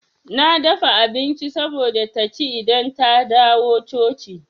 Na dafa abinci saboda taci idan ta dawo coci.